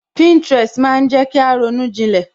Pinterest maa jẹ kí a ronú jilẹ̀